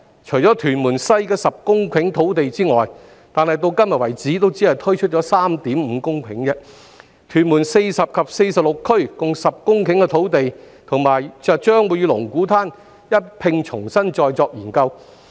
除屯門西的10公頃土地外——但至今只推出了 3.5 公頃——屯門40區及46區共10公頃的土地將會與龍鼓灘一併重新再作研究。